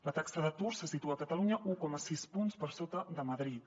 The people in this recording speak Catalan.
la taxa d’atur se situa a catalunya un coma sis punts per sota de madrid